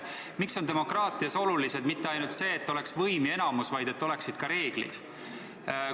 Miks on demokraatias oluline mitte ainult see, et oleks võim ja enamus, vaid et oleksid ka reeglid?